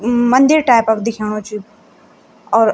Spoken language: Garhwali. म मंदिर टाइप क दिख्याणु च यु और --